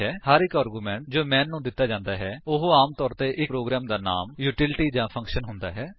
ਹਰ ਇੱਕ ਆਰਗੂਮੈਂਟ ਜੋ ਮੈਨ ਨੂੰ ਦਿੱਤਾ ਜਾਂਦਾ ਹੈ ਉਹ ਆਮ ਤੌਰ ਤੇ ਇੱਕ ਪ੍ਰੋਗਰਾਮ ਦਾ ਨਾਮ ਯੂਟੀਲੀਟੀ ਜਾਂ ਫੰਕਸ਼ਨ ਹੁੰਦਾ ਹੈ